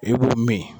I b'u min